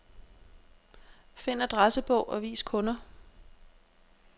Find adressebog og vis kunder.